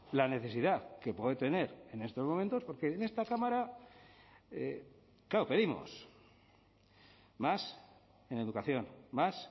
la necesidad que puede tener en estos momentos porque en esta cámara claro pedimos más en educación más